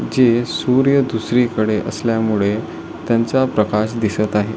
जे सूर्य दुसरी कडे असल्यामुळे त्यांचा प्रकाश दिसत आहे.